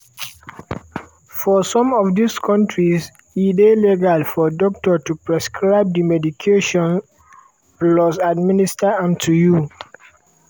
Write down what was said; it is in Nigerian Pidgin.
for some of dis kontris e dey legal for doctor to prescribe di medication plus administer am to you.